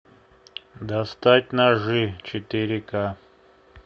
достать ножи четыре ка